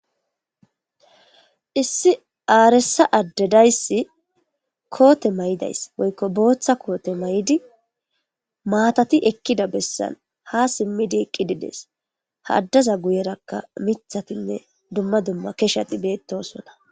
Issi aaresa addedayssi koote may7idays woykko booththa koote may7di maatati ekkida bessan ha simmidi qqidides haaddaza guyerakka mithatinne dumma dumma keshati beetosona.